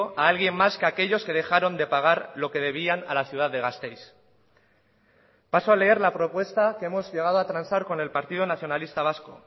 a alguien más que a aquellos que dejaron de pagar lo que debían a la ciudad de gasteiz paso a leer la propuesta que hemos llegado a transar con el partido nacionalista vasco